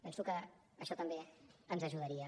penso que això també ens ajudaria